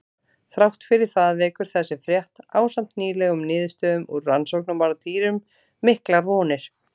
Þrátt fyrir það vekur þessi frétt, ásamt nýlegum niðurstöðum úr rannsóknum á dýrum, miklar vonir.